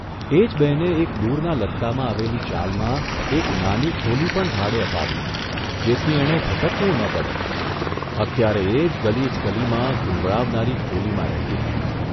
એ જ બહેને એક દૂરના લત્તામાં આવેલી ચાલમાં એક નાની ખોલી પણ ભાડે અપાવી જેથી એણે ભટકવું ન પડે અત્યારે એ જ ગલીચ ગલીમાં, ગુંગળાવનારી ખોલીમાં રહેતી હતી.